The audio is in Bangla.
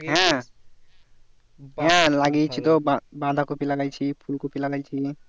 হ্যাঁ হ্যাঁ লাগিয়েছি তো বাঁ বাঁধাকপি লাগাইছি ফুলকপি লাগাইছি